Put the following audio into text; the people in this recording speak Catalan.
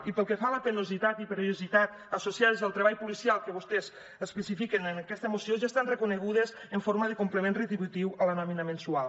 i pel que fa a la penositat i perillositat associades al treball policial que vostès especifiquen en aquesta moció ja estan reconegudes en forma de complement retributiu a la nòmina mensual